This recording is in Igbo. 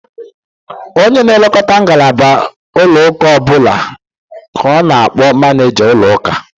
Onye na-elekọta ngalaba ụlọakụ ọbụla ka a na-akpọ manịịja ụlọakụ.